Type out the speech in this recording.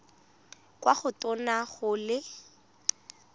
kwa go tona go le